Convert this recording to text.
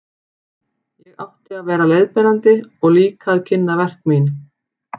Ég átti að vera leiðbeinandi og líka að kynna verk mín.